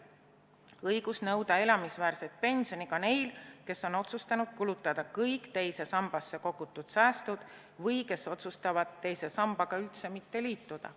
Õigus nõuda elamisväärset pensioni on ka neil, kes on otsustanud kulutada kõik teise sambasse kogutud säästud või kes otsustavad teise sambaga üldse mitte liituda.